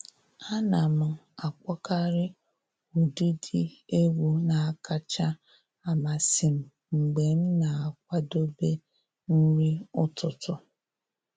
Ana m akpọkarị ụdịdị egwu na-akacha amasị m mgbe m na-akwadobe nri ụtụtụ